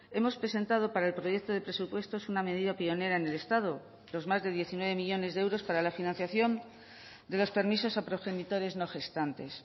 hemos presentado para el proyecto de presupuestos una medida pionera en el estado los más de diecinueve millónes de euros para la financiación de los permisos a progenitores no gestantes